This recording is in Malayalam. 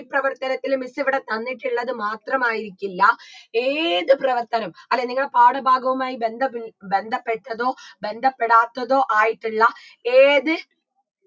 ഈ പ്രവർത്തനത്തിലും miss ഇവിടെ തന്നിട്ടുള്ളത് മാത്രമായിരിക്കില്ല ഏത് പ്രവർത്തനം അല്ലെ നിങ്ങളെ പാഠ ഭാഗവുമായി ബന്ധമില്ലാ ബന്ധപ്പെട്ടതോ ബന്ധപ്പെടാത്തതോ ആയിട്ടുള്ള